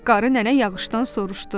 Qarı nənə yağışdan soruşdu: